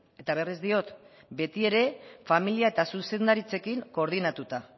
eta berriz diot beti ere familia eta zuzendaritzekin koordinatuta